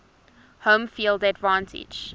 home field advantage